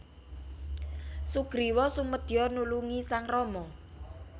Sugriwa sumedya nulungi sang Rama